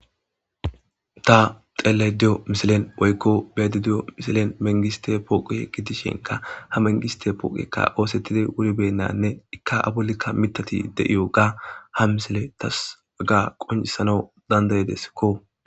Ta xeele diyo misilen oykko bedi diyo misilen mengiste pooqu he gitishinka ha mengiste pooqekka oosettidi wuribennanne ikka abulikka mitati de7iyo ga ha misile tas aga qoncisana dandaydeskko.